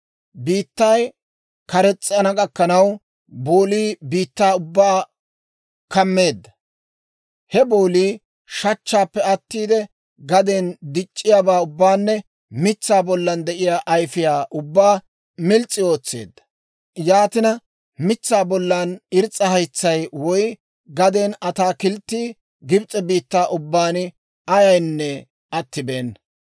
Biittay kares's'ana gakkanaw boolii biittaa ubbaa kammeedda. He boolii shachchaappe attiide gaden dic'c'iyaabaa ubbaanne mitsaa bollan de'iyaa ayfiyaa ubbaa mils's'i ootseedda. Yaatina mitsaa bollan irs's'a haytsay, woy gaden ataakilttii Gibs'e biittaa ubbaan ayaynne attibeena.